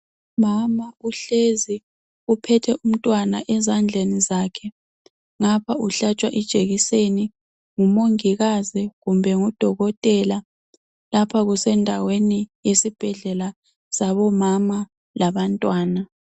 Umama uhlezi uphethe umntwana ezandleni zakhe ngapha uhlatshwa ijekiseni ngumongikazi kumbe ngudokotela. Lapha kusendaweni yesibhedlela sabomama labantwana.